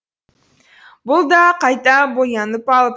бұл да қайта боянып ал